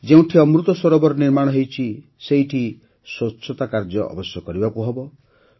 ଯେଉଁଠି ଅମୃତ ସରୋବର ନିର୍ମାଣ ହୋଇଛି ସେଠିତ ସ୍ୱଚ୍ଛତା କାର୍ଯ୍ୟ ଅବଶ୍ୟ କରିବାକୁ ହେବ